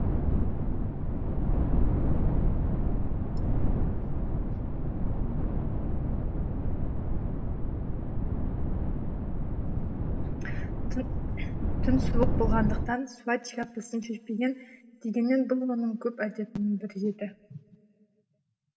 түн түн суық болғандықтан суайт шляпасын шешпеген дегенмен бұл оның көп әдетінің бірі еді